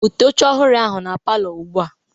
Bute oche ohụrụ ahụ na palọ ugbua!